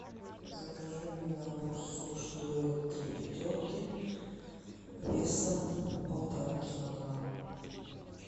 закажи мне набор суш дуэт три пятерки весом полтора килограмма